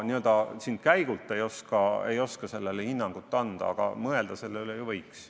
Ma siin käigu pealt ei oska sellele hinnangut anda, aga mõelda selle üle ju võiks.